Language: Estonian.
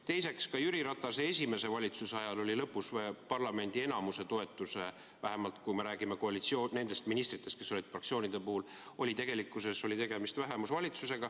Teiseks, ka Jüri Ratase esimese valitsuse ajal oli lõpus parlamendi enamuse toetusel, vähemalt kui me räägime koalitsiooni nendest ministritest, kes olid fraktsioonide puhul, tegelikkuses tegemist vähemusvalitsusega.